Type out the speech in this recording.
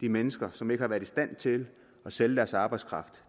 de mennesker som ikke har været i stand til at sælge deres arbejdskraft